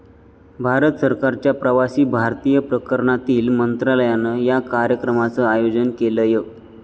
भारत सरकारच्या प्रवासी भारतीय प्रकरणांतील मंत्रालयानं या कार्यक्रमाचं आयोजन केलंय.